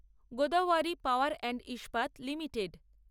Godavari power and Ispat limited